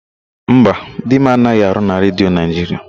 Mba, di m anaghị arụ na Redio Naịjiria.